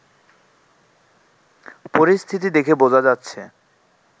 পরিস্থিতি দেখে বোঝা যাচ্ছে